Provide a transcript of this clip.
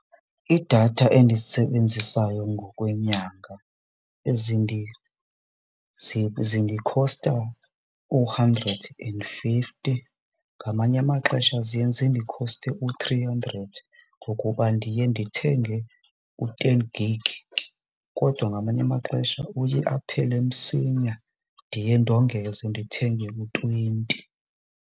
Iidatha endizisebenzisayo ngokwenyanga zindikhosta u-hundred and fifty, ngamanye amaxesha ziye zindikhoste u-three hundred ngokuba ndiye ndithenge u-ten gig kodwa ngamanye amaxesha uye aphele msinya ndiye ndongeze ndithenge u-twenty.